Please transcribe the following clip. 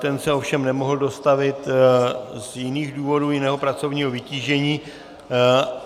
Ten se ovšem nemohl dostavit z jiných důvodů, jiného pracovního vytížení.